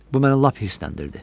Bu məni lap hırsəndirdi.